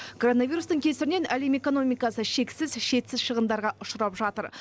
коронавирустың кесірінен әлем экономикасы шексіз шетсіз шығындарға ұшырап жатыр